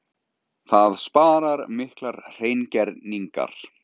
Það sparar miklar hreingerningar.